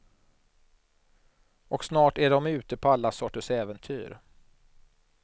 Och snart är de ute på alla sorters äventyr.